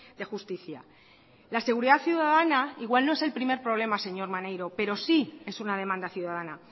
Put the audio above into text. de justicia la seguridad ciudadana igual no es el primer problema señor maneiro pero sí es una demanda ciudadana